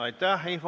Aitäh!